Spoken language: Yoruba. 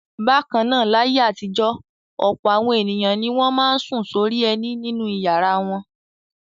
Bákan náà, láyé àtijọ́ ọ̀pọ̀ àwọn ènìyàn ni wọ́n máa ń sùn sórí ẹní nínú ìyàrá wọn.